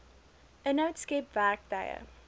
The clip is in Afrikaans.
inhoud skep werktuie